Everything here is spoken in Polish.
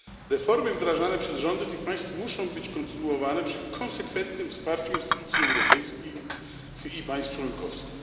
Reformy wdrażane przez rządy tych państw muszą być kontynuowane przy konsekwentnym wsparciu instytucji europejskiej i państw członkowskich.